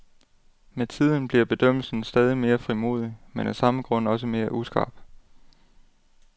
Med tiden bliver bedømmelsen stadig mere frimodig, men af samme grund også mere uskarp.